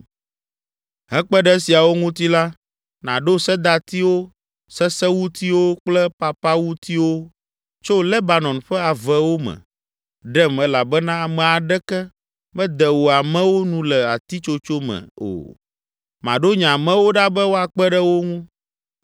“Hekpe ɖe esiawo ŋuti la, nàɖo sedatiwo, sesewutiwo kple papawutiwo tso Lebanon ƒe avewo me ɖem elabena ame aɖeke mede wò amewo nu le atitsotso me o. Maɖo nye amewo ɖa be woakpe ɖe wo ŋu.